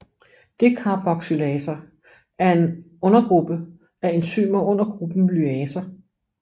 Decarboxylaser er en undergruppe af enzymer under gruppen lyaser